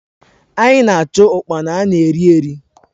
Anyị na-achụ ụkpana ana eri eri.